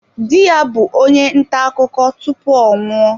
Di ya bụ onye nta akụkọ tupu ọ nwụọ.